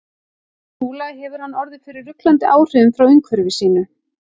Trúlega hefur hann orðið fyrir ruglandi áhrifum frá umhverfi sínu.